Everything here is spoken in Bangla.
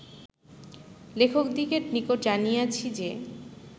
লেখকদিগের নিকট জানিয়াছি যে